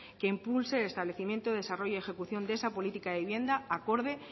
que impulse el establecimiento desarrollo y ejecución de esa política de vivienda acorde